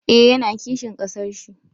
Eh, ya na kishin ƙasar shi